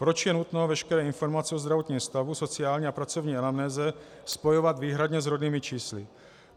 Proč je nutno veškeré informace o zdravotním stavu, sociální a pracovní anamnéze spojovat výhradně s rodnými čísly?